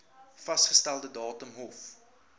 vasgestelde datum hof